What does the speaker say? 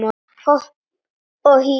Hopp og hí